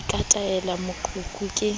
ke ka tatela boqheku ke